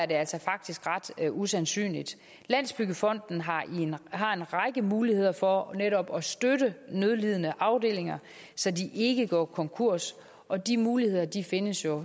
det altså faktisk ret usandsynligt landsbyggefonden har har en række muligheder for netop at støtte nødlidende afdelinger så de ikke går konkurs og de muligheder findes jo